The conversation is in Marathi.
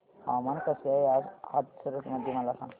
हवामान कसे आहे आज हाथरस मध्ये मला सांगा